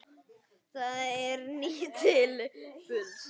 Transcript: Það er nýtt til fulls.